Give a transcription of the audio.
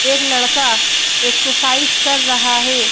एक लड़का एक्सरसाइज कर रहा है।